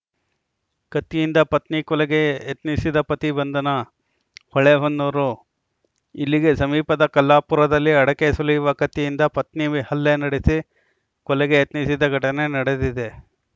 ಕತ್ತಿಯಿಂದ ಪತ್ನಿ ಕೊಲೆಗೆ ಯತ್ನಿಸಿದ ಪತಿ ಬಂಧನ ಹೊಳೆಹೊನ್ನೂರು ಇಲ್ಲಿಗೆ ಸಮೀಪದ ಕಲ್ಲಾಪುರದಲ್ಲಿ ಅಡಕೆ ಸುಲಿಯುವ ಕತ್ತಿಯಿಂದ ಪತ್ನಿ ಹಲ್ಲೆ ನಡೆಸಿ ಕೊಲೆಗೆ ಯತ್ನಿಸಿದ ಘಟನೆ ನಡೆದಿದೆ